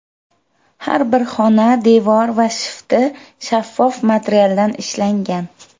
Har bir xona devor va shifti shaffof materialdan ishlangan.